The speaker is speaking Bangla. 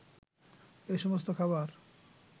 এসমস্ত খাবার